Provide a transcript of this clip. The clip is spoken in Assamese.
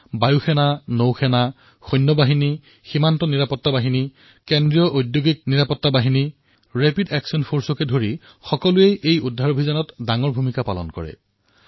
এয়াৰ ফৰ্চেই হওক নেভিয়েই হওক আৰ্মীয়েই হওক বিএছএছ চিআইএছএফ আৰএফেই হওক সকলোৱে ৰক্ষা কাৰ্যত বৃহৎ ভূমিকা পালন কৰিছে